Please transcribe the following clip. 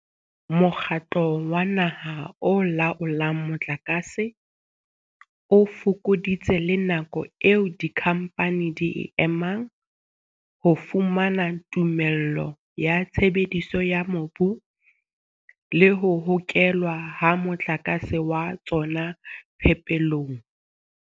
Mokgatlo wa Naha o Laolang Motlakase o fokoditse le nako eo dikhamphane di e emang ho fumana tumello ya tshebediso ya mobu le ho hokelwa ha motlakase wa tsona phepelong.